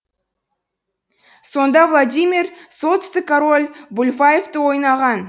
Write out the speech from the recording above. сонда владимир солтүстік король бульвайфты ойнаған